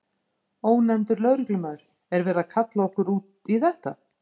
Ónefndur lögreglumaður: Er verið að kalla okkur út í þetta?